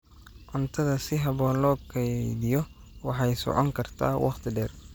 Cuntada si habboon loo kaydiyo waxay socon kartaa waqti dheer.